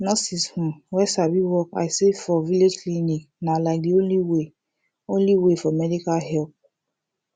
nurses um wey sabi work i say for village clinic na like de only way only way for medical help